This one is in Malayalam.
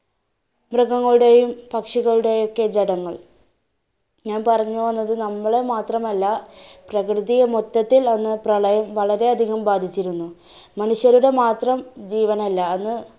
മൃഗങ്ങളുടെയും പക്ഷികളുടേയുമൊക്കെ ജഡങ്ങൾ, ഞാൻ പറഞ്ഞു വന്നത്, നമ്മളെ മാത്രമല്ല പ്രകൃതിയെ മൊത്തത്തിൽ അന്ന് പ്രളയം വളരെ അധികം ബാധിച്ചിരുന്നു. മനുഷ്യരുടെ മാത്രം ജീവനല്ല അന്ന്